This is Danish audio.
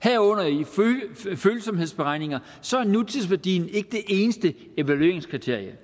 herunder følsomhedsberegninger så er nutidsværdien ikke det eneste evalueringskriterie